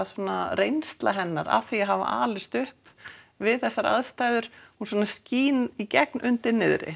reynsla hennar af því að hafa alist upp við þessar aðstæður hún svona skín í gegn undir niðri